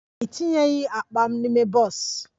A etinyeghi akpa m n'ime bọs